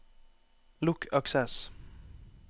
lukk Access